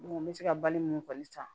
n bɛ se ka bali mun kɔni san